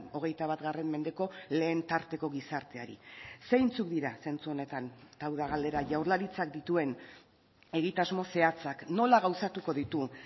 hogeita bat mendeko lehen tarteko gizarteari zeintzuk dira zentzu honetan eta hau da galdera jaurlaritzak dituen egitasmo zehatzak nola gauzatuko ditu